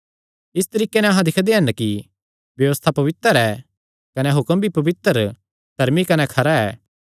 इस तरीके नैं अहां दिक्खदे हन कि व्यबस्था पवित्र ऐ कने हुक्म भी पवित्र धर्मी कने खरा ऐ